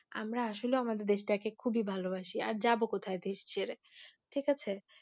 আমরা আসলে আমাদের দেশটাকে খুবি ভালোবাসি আর যাবো কথায় দেশ ছেড়ে ঠিক আছে।